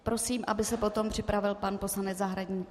Prosím, aby se potom připravil pan poslanec Zahradník.